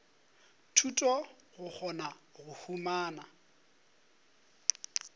thuto go kgona go humana